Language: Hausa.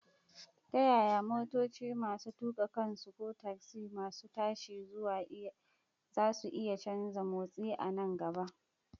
Ta yaya motoci masu tuka kansu ko tasi masu tashi zasu iya canza motsi a nan gaba?